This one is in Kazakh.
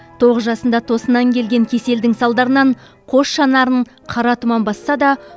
тоғыз жасында тосыннан келген кеселдің салдарынан қос жанарын қара тұман басса да